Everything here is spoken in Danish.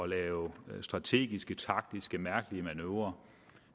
lave strategiske taktiske og mærkelige manøvrer